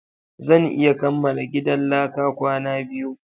Zan iya kamala gidan laka kwana biyu